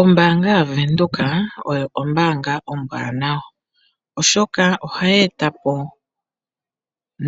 Ombaanga yaVenduka oyo ombaanga ombwaanawa, oshoka ohaye eta po